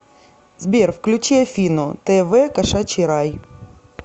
сбер включи афину тэ вэ кошачий рай